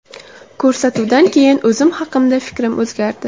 Ko‘rsatuvdan keyin o‘zim haqimda fikrim o‘zgardi.